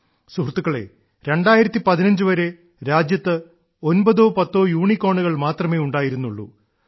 സുഹൃത്തുക്കളേ 2015 വരെ രാജ്യത്ത് ഒമ്പതോ പത്തോ യൂണിക്കോണുകൾ മാത്രമേ ഉണ്ടായിരുന്നുള്ളൂ